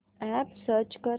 app search कर